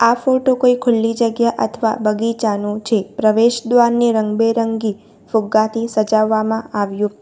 આ ફોટો કોઈ ખુલ્લી જગ્યા અથવા બગીચાનું છે પ્રવેશદ્વારની રંગબેરંગી ફુગાથી સજાવવામાં આવ્યો --